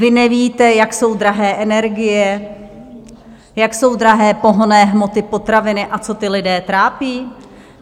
Vy nevíte, jak jsou drahé energie, jak jsou drahé pohonné hmoty, potraviny a co ty lidi trápí?